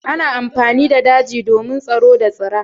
Ana amfani da daje domin tsaro da tsira.